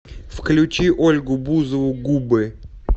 включи ольгу бузову губы